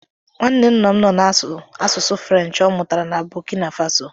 Nwanne nna m nọ na-asụ asụsụ French ọ mụtara na Bọkina Faso.